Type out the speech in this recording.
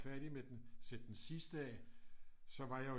Færdig med den sætte den sidste af så var jeg jo